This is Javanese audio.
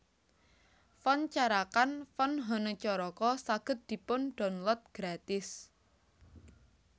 Font Carakan Font hanacaraka saged dipun download gratis